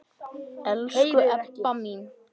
Elsku Ebba mín.